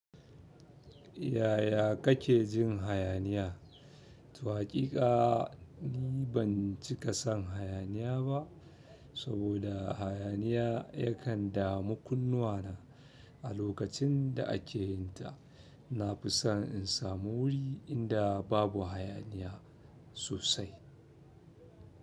Yaya kake jin hayaniya? To haƙiƙa ni ban cika son hayaniya ba, saboda hayaniya yakan damu kunnuwana a lokacin da ake yin ta. Na fi son in samu wuri inda babu hayaniya sosai.